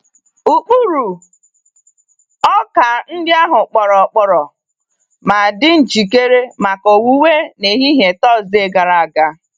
Ụkpụrụ ọka ndị ahụ kpọrọ kpọrọ ma dị njikere maka owuwe n'ehihie Tọọsde gara aga.